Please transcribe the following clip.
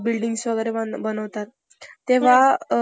त्र त्रे उत्पादन